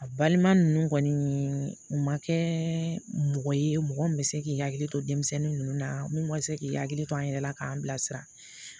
A balima ninnu kɔni u ma kɛ mɔgɔ ye mɔgɔ min bɛ se k'i hakili to denmisɛnnin ninnu na mun ma se k'i hakili to an yɛrɛ la k'an bilasira